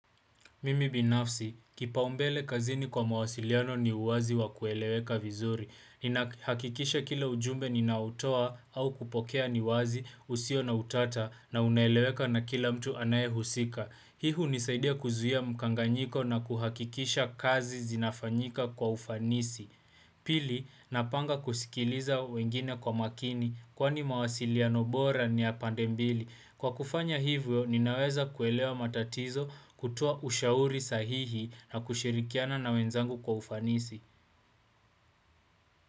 Mimi binafsi, kipaumbele kazini kwa mawasiliano ni uwazi wa kueleweka vizuri. Ninahakikisha kila ujumbe ninaoutoa au kupokea ni wazi usio na utata na unaeleweka na kila mtu anayehusika. Hii hunisaidia kuzuia mkanganyiko na kuhakikisha kazi zinafanyika kwa ufanisi. Pili, napanga kusikiliza wengine kwa makini kwani mawasiliano bora ni ya pande mbili. Kwa kufanya hivyo, ninaweza kuelewa matatizo kutoa ushauri sahihi na kushirikiana na wenzangu kwa ufanisi.